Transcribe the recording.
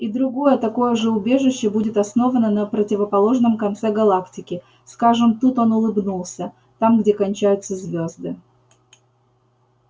и другое такое же убежище будет основано на противоположном конце галактики скажем тут он улыбнулся там где кончаются звезды